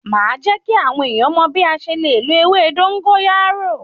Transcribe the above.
Màá jẹ́ kí àwọn èèyàn mọ̀ bí a ṣe le lo ewé dógóyárò.